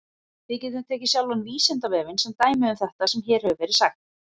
Við getum tekið sjálfan Vísindavefinn sem dæmi um þetta sem hér hefur verið sagt.